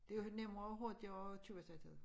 Det er jo nemmere og hurtigere at købe sig til